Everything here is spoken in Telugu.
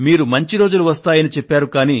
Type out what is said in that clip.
మీరు మంచి రోజులు వస్తాయని చెప్పారు